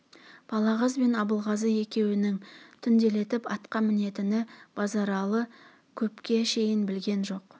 балағаз бен абылғазы екеуінің түнделетіп атқа мінетінін базаралы көпке шейін білген жоқ